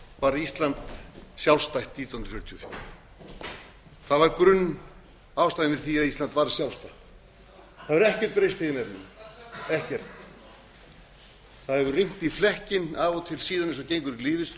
varð ísland sjálfstætt nítján hundruð fjörutíu og fjögur það var grunnástæðan fyrir því að ísland varð sjálfstætt það hefur ekkert breyst í þeim efnum ekkert það hefur rignt í flekkinn af og til síðan eins og gengur í